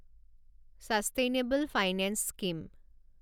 sustainable finance scheme